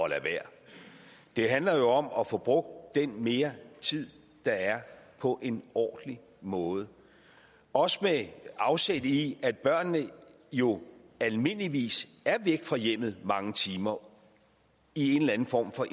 at lade være det handler om at få brugt den mere tid der er på en ordentlig måde også med afsæt i at børnene jo almindeligvis er væk fra hjemmet i mange timer i en eller anden form for